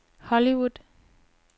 Hollywood